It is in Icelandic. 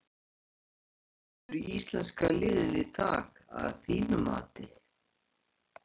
Hver var bestur í íslenska liðinu í dag að þínu mati?